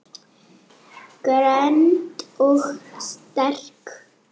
Greind og sterk.